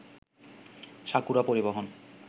sakura পরিবহন